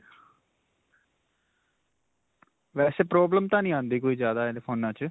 ਵੈਸੇ problem ਤਾਂ ਨਹੀਂ ਆਉਂਦੀ ਕੋਈ ਜਿਆਦਾ ਫੋਨਾਂ 'ਚ.